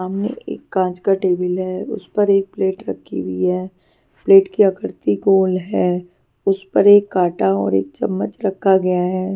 सामने एक कांच का टेबल है उस पर एक प्लेट रखी हुई है प्लेट की आकृति गोल है उसपर एक काटा और एक चम्मच रखा गया है.